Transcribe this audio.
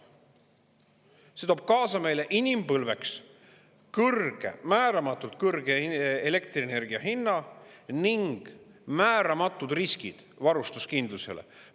See toob kaasa meile inimpõlveks kõrge, määramatult kõrge elektrienergia hinna ning määramatud riskid varustuskindlusele.